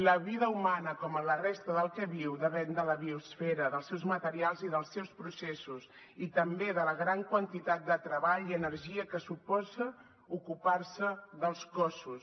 la vida humana com la resta del que viu depèn de la biosfera dels seus materials i dels seus processos i també de la gran quantitat de treball i energia que suposa ocupar se dels cossos